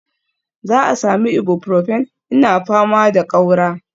Za a sami Ibuprofin, ina fama da ƙaura